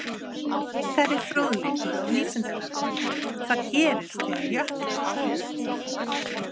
Frekari fróðleikur á Vísindavefnum: Hvað gerist þegar jöklar hopa?